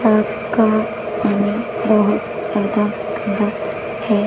और कंपनी बहोत ज्यादा खड़ा है।